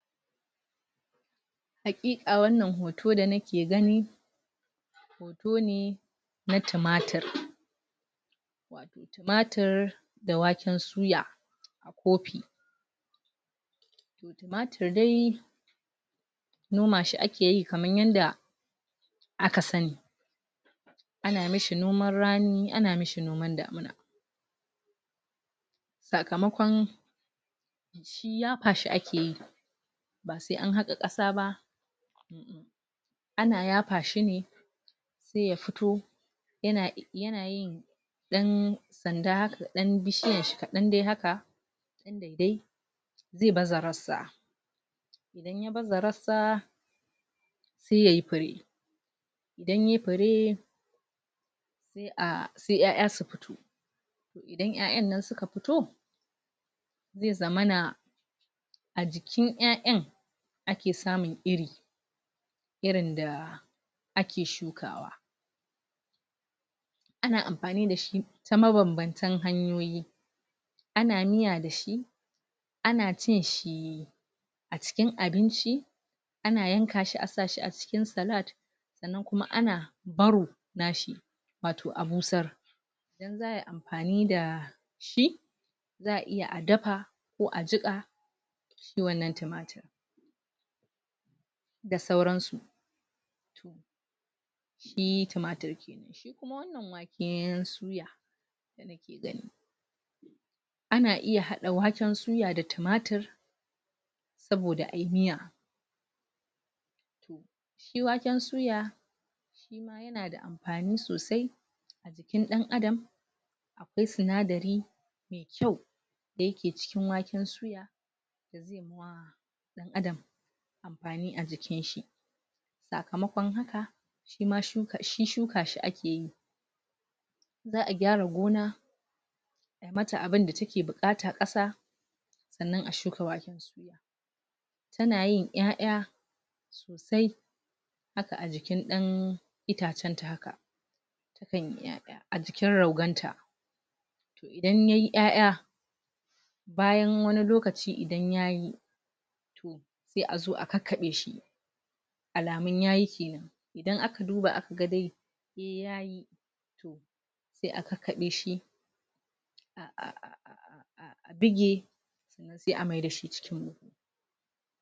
Haƙiƙa wannan hoto da na ke gani hoton ne na tumatur tumatur da waken suya a copi tumatur dai noma shi a ke yi kamar yanda a ka sanni a na mishi nomar rani, a na mishi nomar damuna sakamaƙon shi yapa shi a ke yi ba sai an haka kasa ba a na yapa shi ne sai ya fito, ya na, ya na yin dan sanda haka, dan dan bishiyar shi kadan dai haka sanda da, zai bazarar sa idan ya bazarar sa sai yayi pare idan ya yi pare sai a, sai ƴaƴa su fito idan ƴaƴa nan su ka fito zai za mana a jikin ƴaƴan a ke samun iri irin da a ke shukawa a na amfani da shi samma banbanta hanyoyi a na miya da shi a na cin shi acikin abinci, a na yanka shi a sa shi a cikin salad sannan kuma a na baro na shi wato a busar dan za yi amfani da shi zaa iya a dafa ko a jika shi wannan tumatur da sauran su shi tumatur kenan. Shi kuma wannan waken suya da na ke gani a na iya hadda waken suya da tumatur saboda ayi miya toh shi waken suya shi ma yana da amfani sosai a jikin dan Adam akwai tsinadari mai kyau da ya ke cikin waken suya da zai ma wa dan Adam amfani a jikin shi sakamanƙon haka, shi ma shuka, shi shuka shi a ke yi zaa gyara gona a yi mata abun da ta ke bukata kasa tsannan a shuka waken suya ta na yin ƴaƴa sosa haka a jikin dan itacen ta haka su kan yi ƴaƴa a jikin rogon ta toh idan yayi ƴaƴa bayan wani lokaci idan yayi sai a zo a kakabe shi alamun yayi kenan, idan a ka duba a ka ga dai, eh yayi toh sai a kakaɓe shi ah a bige sai a maida shi cikin